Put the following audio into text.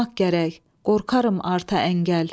Qorxaram arta əngəl.